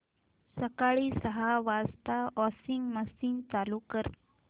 सकाळी सहा वाजता वॉशिंग मशीन चालू कर